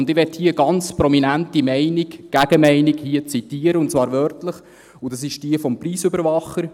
Ich möchte hier eine ganz prominente Meinung, eine Gegenmeinung, zitieren, und zwar wörtlich, und das ist jene des Preisüberwachers.